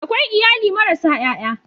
Akwai iyali marasa ƴaƴa.